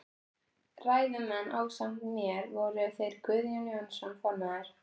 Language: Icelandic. Ræðumenn ásamt mér voru þeir Guðjón Jónsson formaður